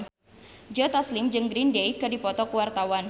Joe Taslim jeung Green Day keur dipoto ku wartawan